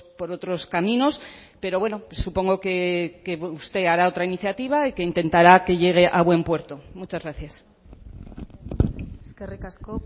por otros caminos pero bueno supongo que usted hará otra iniciativa y que intentará que llegue a buen puerto muchas gracias eskerrik asko